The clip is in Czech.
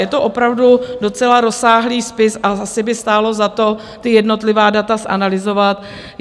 Je to opravdu docela rozsáhlý spis a asi by stálo za to, ta jednotlivá data zanalyzovat.